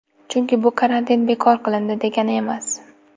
Chunki bu karantin bekor qilindi, degani emas .